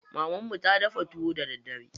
Mamarmu na dafa tuwo da daddare.